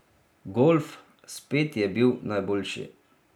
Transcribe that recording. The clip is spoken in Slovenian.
Golf, spet je bil najboljši.